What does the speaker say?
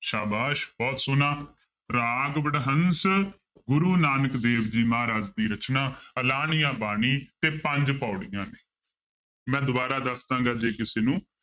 ਸਾਬਾਸ਼ ਬਹੁਤ ਸੋਹਣਾ ਰਾਗ ਵਡਹੰਸ ਗੁਰੂ ਨਾਨਕ ਦੇਵ ਜੀ ਮਹਾਰਾਜ ਦੀ ਰਚਨਾ ਆਲਾਣੀਆਂ ਬਾਣੀ ਤੇ ਪੰਜ ਪਾਉੜੀਆਂ ਨੇ ਮੈਂ ਦੁਬਾਰਾ ਦੱਸਦਾਂਗਾ ਜੇ ਕਿਸੇ ਨੂੰ